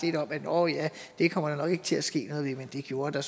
at nå ja der kommer nok ikke til at ske noget men det gjorde der